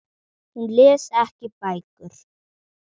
Hún les ekki bækur.